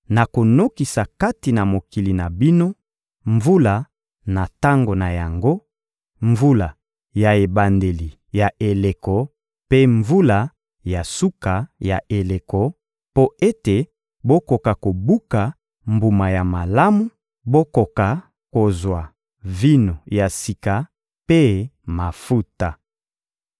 nakonokisa kati na mokili na bino mvula na tango na yango, mvula ya ebandeli ya eleko mpe mvula ya suka ya eleko, mpo ete bokoka kobuka mbuma ya malamu, bokoka kozwa vino ya sika mpe mafuta.